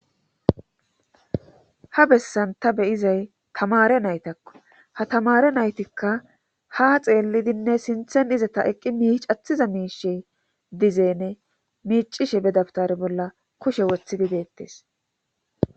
ha bessan ta beyizay tamare naytakko ha tamare naytikka ha xeellidinne sinthen izata eqqi miich athiza miishe dizeene miicishe bedaftare bolla kushe woththidideettes